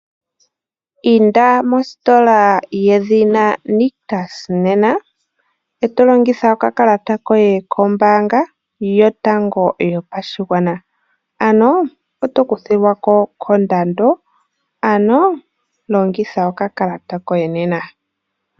Inda mositola yedhina Nictus nena e to longitha okakalata koye kombaanga yotango yopashigwana. Ano oto kuthilwa ko kondando. Ano longitha okakalata koye nena.